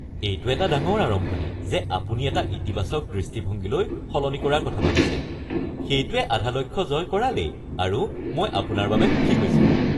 এইটো এটা ডাঙৰ আৰম্ভণি যে আপুনি এটা ইতিবাচক দৃষ্টিভঙ্গীলৈ সলনি কৰাৰ কথা ভাবিছে। সেইটোৱে আধা লক্ষ্য জয় কৰালেই আৰু মই আপোনাৰ বাবে সুখী হৈছোঁ।